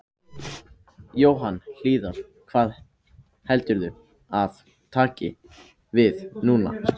Þessu bætir hann ekki við ræðuna í þetta sinn.